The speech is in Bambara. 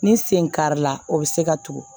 Ni sen kari la o bɛ se ka tugu